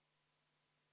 Lugupeetud ettekandja!